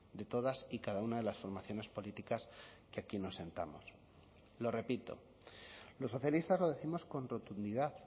de todas y cada una de las formaciones políticas que aquí nos sentamos lo repito los socialistas lo décimos con rotundidad